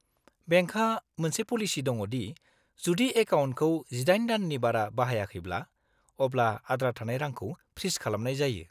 -बेंकहा मोनसे पलिसि दङ दि जुदि एकाउन्टखौ 18 दाननि बारा बाहायाखैब्ला, अब्ला आद्रा थानाय रांखौ फ्रिज खालामनाय जायो।